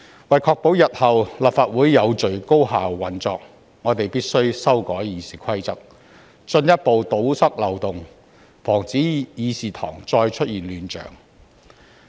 為確保日後立法會有序高效地運作，我們必須修改《議事規則》，進一步堵塞漏洞，阻止議事堂再出現亂象。